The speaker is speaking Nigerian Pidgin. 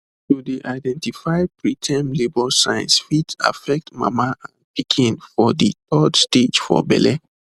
to dey identify preterm labour signs fit affect mama and pikin for de third stage for belle